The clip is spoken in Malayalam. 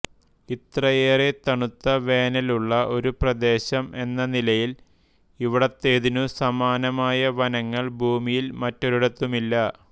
ഇത്രയേറെ തണുത്ത വേനൽ ഉള്ള ഒരു പ്രദേശം എന്ന നിലയിൽ ഇവിടത്തേതിനു സമാനമായ വനങ്ങൾ ഭൂമിയിൽ മറ്റൊരിടത്തുമില്ല